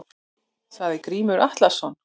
Sagði Grímur Atlason.